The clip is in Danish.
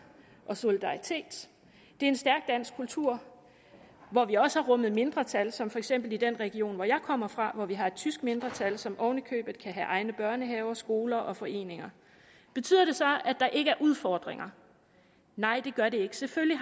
og solidaritet det er en stærk dansk kultur hvor vi også har rummet mindretal som for eksempel i den region hvor jeg kommer fra hvor vi har et tysk mindretal som oven i købet kan have egne børnehaver skoler og foreninger betyder det så at der ikke er udfordringer nej det gør det ikke selvfølgelig